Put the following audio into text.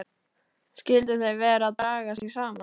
Skyldu þau vera að draga sig saman?